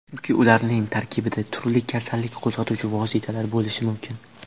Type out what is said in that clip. Chunki ularning tarkibida turli kasallik qo‘zg‘atuvchi vositalar bo‘lishi mumkin.